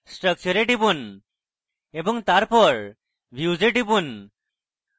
structure এ টিপুন এবং তারপর views এ টিপুন